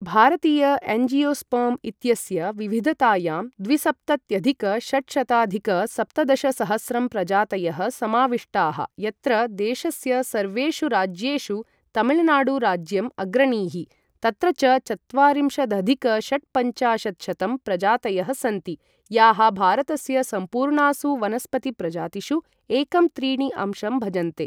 भारतीय एंजियोस्पर्म् इत्यस्य विविधतायां द्विसप्तत्यधिक षट्शताधिक सप्तदशसहस्रं प्रजातयः समाविष्टाः यत्र देशस्य सर्वेषु राज्येषु तमिलनाडुराज्यम् अग्रणीः, तत्र च चत्वारिंशदधिक षट्पञ्चाशत्शतं प्रजातयः सन्ति, याः भारतस्य सम्पूर्णासु वनस्पतिप्रजातिषु एकं त्रीणि अंशं भजन्ते।